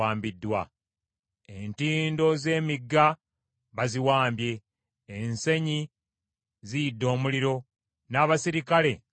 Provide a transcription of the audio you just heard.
entindo z’emigga baziwambye, ensenyi ziyidde omuliro, n’abaserikale batidde.”